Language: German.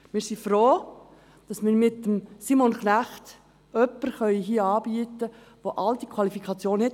Wir sind froh, dass wir mit Simon Knecht hier jemanden anbieten können, der über all diese Qualifikationen verfügt.